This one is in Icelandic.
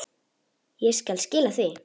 Ég skal skila því.